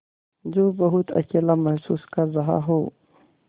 जो बहुत अकेला महसूस कर रहा हो